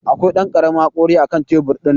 Akwai Dan karamin hakori akan tebur din.